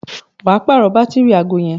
wà á pààrọ̀ bátìrì aago yẹn